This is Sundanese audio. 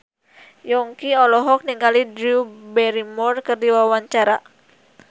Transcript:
Yongki olohok ningali Drew Barrymore keur diwawancara